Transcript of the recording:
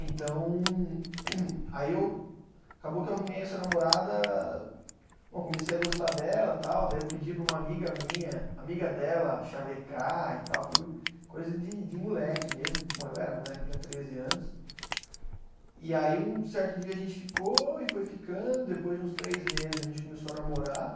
Então, aí eu, acabou que eu arrumei essa namorada, bom, comecei a gostar dela tal, daí eu pedi para uma amiga minha, amiga dela, xavecar e tal, foi coisa de de moleque mesmo, bom, eu era moleque, eu tinha treze anos, e aí um certo dia a gente ficou e foi ficando, depois de uns três meses a gente começou a namorar